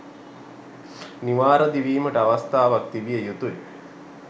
නිවාරදි විමට අවස්ථාවක් තිබිය යුතුයි.